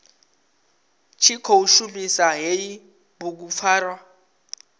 tshi khou shumisa hei bugupfarwa